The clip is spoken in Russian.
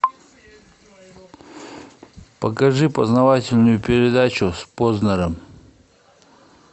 покажи познавательную передачу с познером